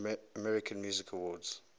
american music awards